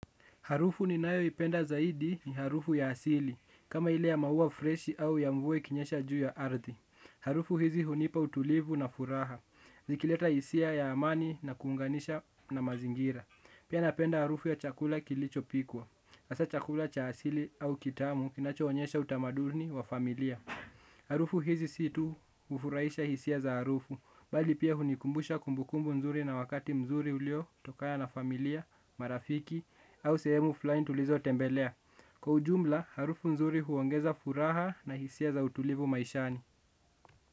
Harufu ninayo ipenda zaidi ni harufu ya asili. Kama ile ya maua fresh au ya mvua ikinyesha juu ya ardhi. Harufu hizi hunipa utulivu na furaha. Zikileta hisia ya amani na kuunganisha na mazingira. Pia napenda harufu ya chakula kilicho pikwa. Asa chakula cha asili au kitamu kinacho onyesha utamadurni wa familia. Harufu hizi si tu hufuraisha hisia za harufu bali pia hunikumbusha kumbukumbu nzuri na wakati mzuri ulio tokana na familia, marafiki au sehemu fulani tulizo tembelea. Kwa ujumla harufu nzuri huongeza furaha na hisia za utulivu maishani.